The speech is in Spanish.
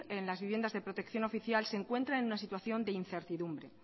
en las viviendas de protección oficial se encuentran en una situación de incertidumbre